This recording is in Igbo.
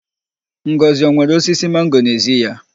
Ngọzị o nwere osisi mango n'ezi ya?